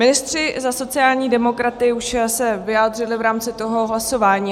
Ministři za sociální demokraty už se vyjádřili v rámci toho hlasování.